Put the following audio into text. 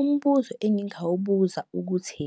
umbuzo engingawubuza ukuthi,